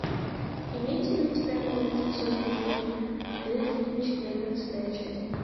имеется ли у тебя мульт созданный в бездне четырнадцатая часть